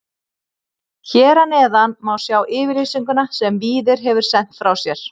Hér að neðan má sjá yfirlýsinguna sem Víðir hefur sent frá sér.